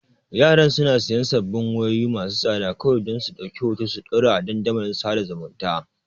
Yaran suna siyan sabbin wayoyi masu tsada kawai don su ɗauki hoto su ɗora a kan dandalin sada zumunta.